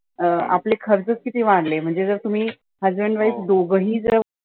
आपले खर्चच किती वाढले म्हणजे जर तुम्ही husband wife दोघे ही जर